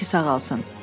Təki sağalsın.